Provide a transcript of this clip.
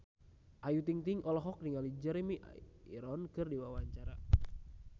Ayu Ting-ting olohok ningali Jeremy Irons keur diwawancara